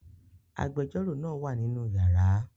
Agbẹjọ́rò náà wà nínú yàrá